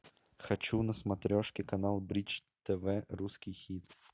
хочу на смотрешке канал бридж тв русский хит